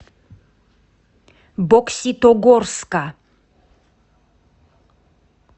бокситогорска